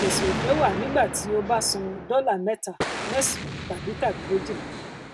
ìpèsè òfé wà nígbà tí o bá san dọlà mẹta mẹsànán tàbí tàbí méjìlá